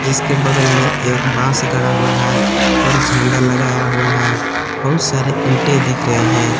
इसके बगल में एक बास गड़ा हुआ है और झंडा लगाया हुआ है बहुत सारे ईंटें दिख रहे हैं।